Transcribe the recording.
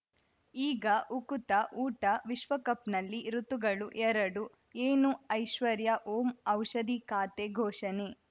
ಈಗ ಉಕುತ ಊಟ ವಿಶ್ವಕಪ್‌ನಲ್ಲಿ ಋತುಗಳು ಎರಡು ಏನು ಐಶ್ವರ್ಯಾ ಓಂ ಔಷಧಿ ಖಾತೆ ಘೋಷಣೆ